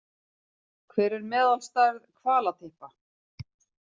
Hver er meðalstærð hvalatyppa?